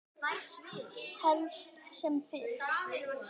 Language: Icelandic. Helst sem fyrst.